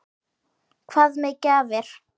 Hvað með gjafir?